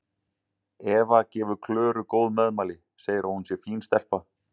Eva gefur Klöru góð meðmæli, segir að hún sé fín stelpa.